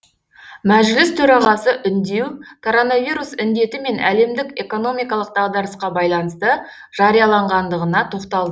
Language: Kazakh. мәжіліс төрағасы үндеу коронавирус індеті мен әлемдік экономикалық дағдарысқа байланысты жарияланғандығына тоқталды